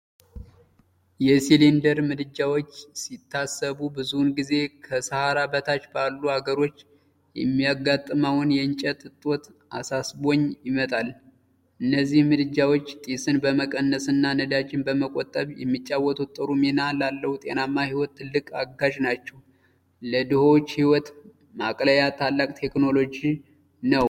የሲሊንደር ምድጃዎች ሲታሰቡ ብዙውን ጊዜ ከሰሃራ በታች ባሉ አገሮች የሚያጋጥመውን የእንጨት እጦት አሳስቦኝ ይመጣል። እነዚህ ምድጃዎች ጢስን በመቀነስ እና ነዳጅን በመቆጠብ የሚጫወቱት ጥሩ ሚና ላለው ጤናማ ሕይወት ትልቅ አጋዥ ናቸው። ለድሆች ሕይወት ማቅለያ ታላቅ ቴክኖሎጂ ነው!